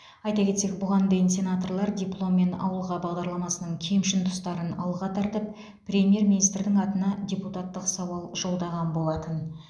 айта кетсек бұған дейін сенаторлар дипломмен ауылға бағдарламасының кемшін тұстарын алға тартып премьер министрдің атына депутаттық сауал жолдаған болатын